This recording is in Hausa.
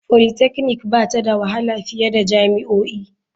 Polytechnic ba ta da wahala fiye da jami'o'i.